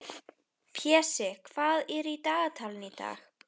Pési, hvað er á dagatalinu í dag?